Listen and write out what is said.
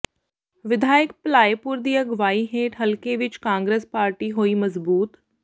ਵਿਧਾਇਕ ਭਲਾਈਪੁਰ ਦੀ ਅਗਵਾਈ ਹੇਠ ਹਲਕੇ ਵਿਚ ਕਾਂਗਰਸ ਪਾਰਟੀ ਹੋਈ ਮਜ਼ਬੂਤ